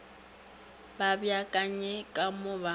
ba beakanye ka mo ba